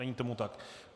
Není tomu tak.